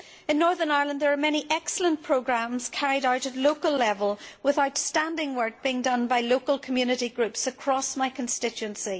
In Northern Ireland there are many excellent programmes carried out at local level with outstanding work being done by local community groups across my constituency.